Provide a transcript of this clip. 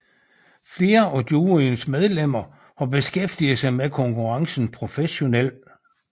Flere af juryens medlemmer har beskæftiget sig med konkurrencen professionelt